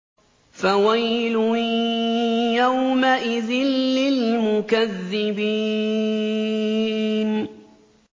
فَوَيْلٌ يَوْمَئِذٍ لِّلْمُكَذِّبِينَ